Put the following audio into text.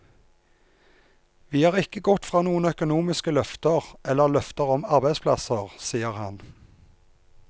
Vi har ikke gått fra noen økonomiske løfter, eller løfter om arbeidsplasser, sier han.